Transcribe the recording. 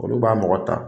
Olu b'a mɔgɔ ta